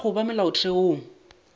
ka ga go ba molaotheong